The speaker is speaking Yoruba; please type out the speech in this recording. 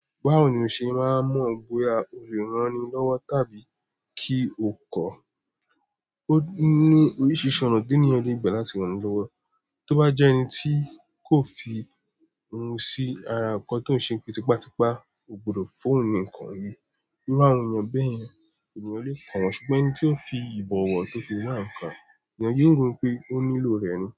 Báwo ni o ṣe máa mọ bóya o lè ranni lọ́wọ́ tàbí kí o kọ̀? Ó ní oríṣiríṣi ọ̀nà tí ènìyàn le gbà láti ranni lọ́wọ́. Tóbá jẹ́ ẹni tí kò fi ohun sí ara ko tó ń se pe tipátipá, o gbọdọ̀ fún ohun nì nnkàn yìí. Nígbà wo ènìyàn bẹ́yẹn, ènìyàn lè kàn wọ́n. Ṣùgbọ́n ẹni tí ó fi ìbọ̀wọ̀ tó fi wá ǹkan, ènìyàn yóò rò pé ó nílò rẹ̀ ni.